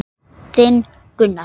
Þinn Gunnar.